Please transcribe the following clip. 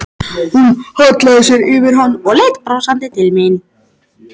Hún hallaði sér yfir hann og leit brosandi til mín.